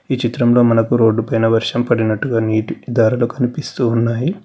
ఈ చిత్రంలో మనకు రోడ్ పైన వర్షం పడినట్టుగా నీటి దారలు కనిపిస్తున్నాయి.